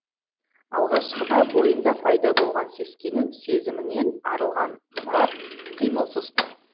алғашқыда бойында пайда болған сескену сезімінен арылған мұрат қимылсыз тұр